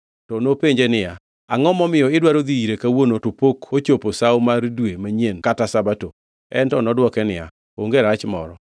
To nopenje niya, “Angʼo momiyo idwaro dhi ire kawuono, to pok ochopo Sawo mar Dwe Manyien kata Sabato?” En to nodwoke niya, “Onge rach moro.”